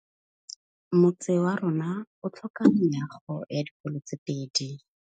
Motse warona o tlhoka meago ya dikolô tse pedi.